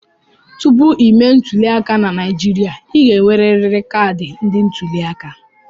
Tupu ịme ntuliaka na Naijiria, ị ga-enwerịrị kaadị ndị ntuliaka.